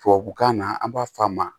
Tubabukan na an b'a f'a ma